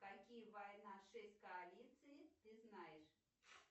какие война шесть коалиций ты знаешь